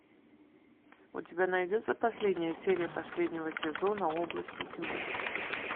у тебя найдется последняя серия последнего сезона области тьмы